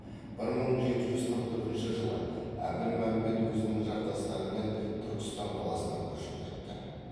бір мың жеті жүз қырық төртінші жылы әбілмәмбет өзінің жақтастарымен түркістан қаласына көшіп кетті